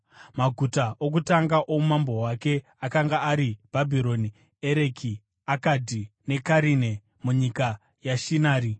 Maguta okutanga oumambo hwake akanga ari Bhabhironi, Ereki, Akadhi neKarine, munyika yeShinari.